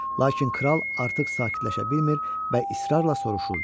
Lakin kral artıq sakitləşə bilmir və israrla soruşurdu.